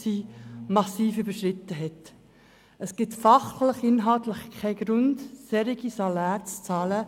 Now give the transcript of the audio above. Es gibt weder fachliche noch inhaltliche Gründe, solche Saläre zu bezahlen.